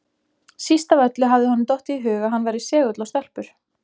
Síst af öllu hafði honum dottið í hug að hann væri segull á stelpur!